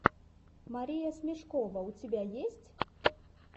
мария смешкова у тебя есть